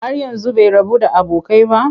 Har yanzu bai rabu da abokai ba?